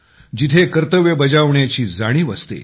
जिथे कर्तव्य बजावण्याची जाणीव असते